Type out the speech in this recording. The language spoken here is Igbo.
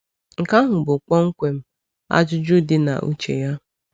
Nke ahụ bụ kpọmkwem ajụjụ dị na uche ya.